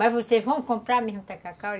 Mas vocês vão comprar mesmo o tacacá?